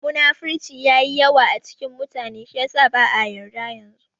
Munafurci yayi yawa a cikin mutane shi yasa ba'a yarda yanzu